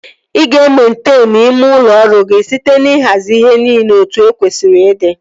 Ị ga-ementenu ime ụlọ ọrụ gị site n'ihazi ihe niile etu o kwesịrị ịdị